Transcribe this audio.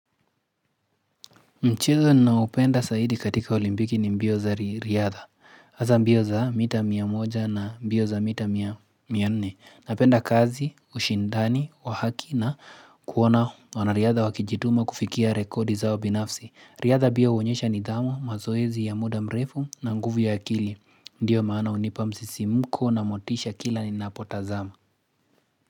Mchezo ninaopenda zaidi katika olimpiki ni mbio za riadha, hasa mbio za mita mia moja na mbio za mita mia nne, napenda kazi, ushindani, wahaki na kuona wanariadha wakijituma kufikia rekodi zao binafsi, riadha pia huonyesha nidhamu, mazoezi ya muda mrefu na nguvu ya akili, ndiyo maana hunipa msisimuko na motisha kila ninapotazama.